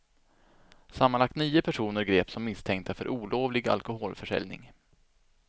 Sammanlagt nio personer greps som misstänkta för olovlig alkoholförsäljning.